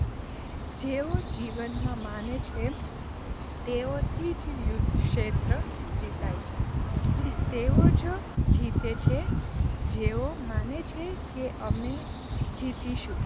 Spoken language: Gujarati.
જેવો જીવનમાં માને છે તેઓથી જ યુદ્ધક્ષેત્ર જીતાય છે, તેઓ જ જીતે છે જેઓ માને છે કે અમે જ જીતીશું.